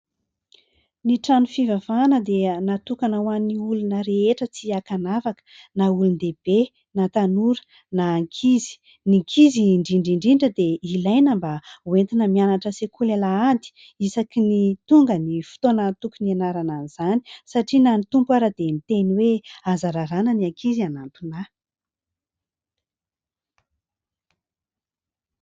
Ny trano fivavahana dia natokana ho an'ny olona rehetra tsy ankanavaka na olon-dehibe na tanora na ankizy. Ny ankizy indrindra indrindra dia ilaina mba hoentina mianatra sekoly alahady isaky ny tonga ny fotoana tokony hianarana an'izany satria na ny Tompo ara dia miteny hoe aza rarana ny ankizy hanantona ahy.